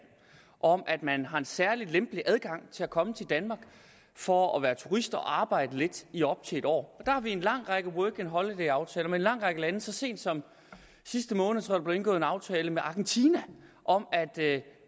om at man har en særlig lempelig adgang til at komme til danmark for at være turist og arbejde lidt i op til et år har vi en lang række working holiday aftaler med en lang række lande så sent som i sidste måned tror blev indgået en aftale med argentina om at